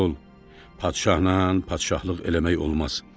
Oğul, padşahla padşahlıq eləmək olmaz.